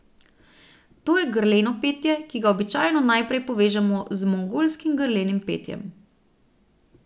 To je grleno petje, ki ga običajno najprej povežemo z mongolskim grlenim petjem.